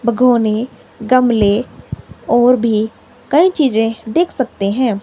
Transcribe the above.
बगोने गमले और भी कई चीजें देख सकते हैं।